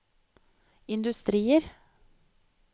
industrier